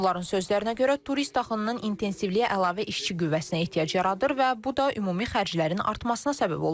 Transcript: Onların sözlərinə görə, turist axınının intensivliyi əlavə işçi qüvvəsinə ehtiyac yaradır və bu da ümumi xərclərin artmasına səbəb olur.